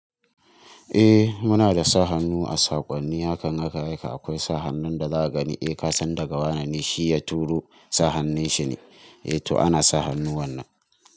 Eh muna da sa hannu a saƙonni hakan naka haka akwai sa hannun da zaka gani, eh kasan daga wane ne shi ya turo sa hannun shi ne, eh to ana sa hannu wannan.